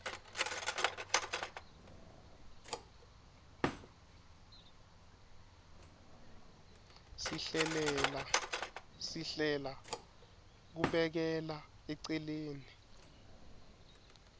sihlela kubekela eceleni